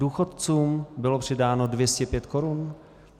Důchodcům bylo přidáno 205 korun?